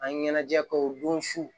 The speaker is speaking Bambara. An ɲɛnajɛ kɛ o don su